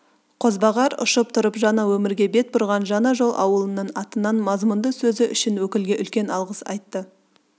қозбағар ұшып тұрып жаңа өмірге бет бұрған жаңа жол ауылының атынан мазмұнды сөзі үшін өкілге үлкен алғыс айтты